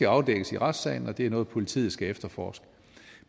afdækkes i retssalen og det er noget politiet skal efterforske